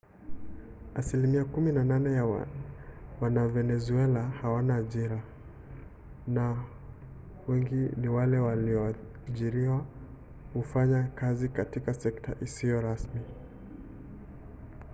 asilimia kumi na nane ya wavenezuela hawana ajira na wengi wa wale walioajiriwa hufanya kazi katika sekta isiyo rasmi